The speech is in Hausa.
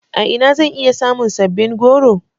A ina zan iya samun sabbin goro.